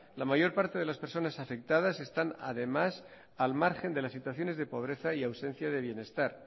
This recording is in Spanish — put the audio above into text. la mayor parte de las personas afectadas están además al margen de las situaciones de pobreza y ausencia de bienestar